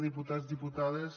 diputats diputades